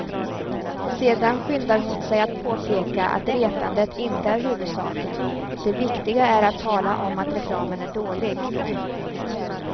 Sedan skyndar hon sig att påpeka att retandet inte är huvudsaken, det viktiga är att tala om att reklamen är dålig.